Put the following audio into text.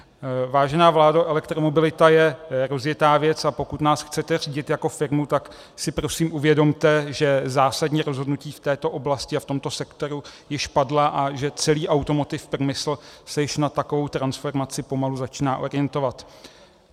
Vážená vládo, elektromobilita je rozjetá věc, a pokud nás chcete řídit jako firmu, tak si prosím uvědomte, že zásadní rozhodnutí v této oblasti a v tomto sektoru již padla a že celý automotive průmysl se již na takovou transformaci pomalu začíná orientovat.